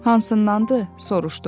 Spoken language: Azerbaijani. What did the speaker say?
Hansındandır, soruşdum.